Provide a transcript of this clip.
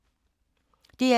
DR2